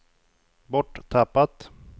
borttappat